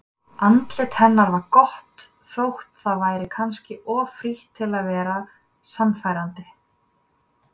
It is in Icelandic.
Andlit hennar var gott þótt það væri kannski of frítt til að vera sannfærandi.